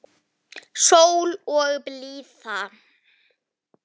Og kulna aldrei.